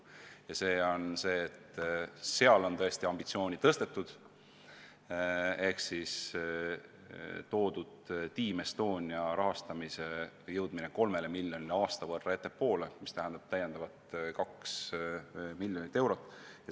Märksa ambitsioonikamana torkab silma, et Team Estonia rahastamise suurendamine kolme miljonini on toodud aasta võrra ettepoole, mis tähendab täiendavalt kaks miljonit eurot.